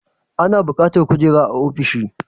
Ana bukatar kujera a ofishi